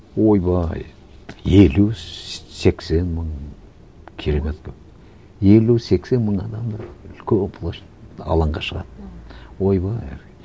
ойбай елу сексен мың керемет көп елу сексен мың адамдар үлкен площадь алаңға шығады ойбай